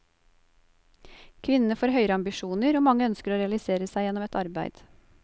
Kvinnene får høyere ambisjoner, og mange ønsker å realisere seg gjennom et arbeid.